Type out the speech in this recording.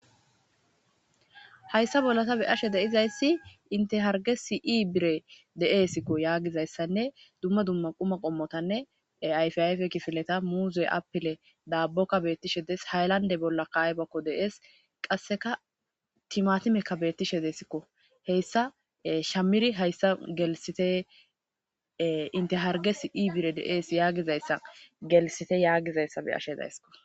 Hayssa bolla tabe ashe deizayssi intehargesi iibire deeesikko yaagizayssanne dumma dumma quma qommotanne ayfi ayfe kifileta muuze apile daabbokka beettishe dees haylande bolla kaybakko deees qasseka timatimekka beettishe desikko heyssa shamiri hayssa gelisite inteharges ibire deees yaagizayssa gelisite yaagizayssa be ashe daysskko.